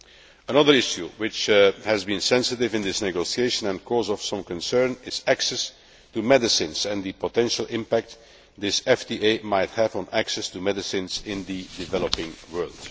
Another issue which has been sensitive in this negotiation and the cause of some concern is access to medicines and the potential impact this FTA might have on access to medicines in the developing world.